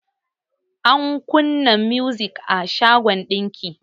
An kunna muzik a shagon ɗinki.